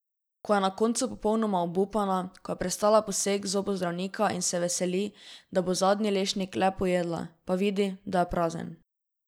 Ko je na koncu popolnoma obupana, ko je prestala poseg zobozdravnika in se veseli, da bo zadnji lešnik le pojedla, pa vidi, da je prazen.